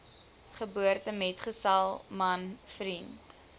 geboortemetgesel man vriend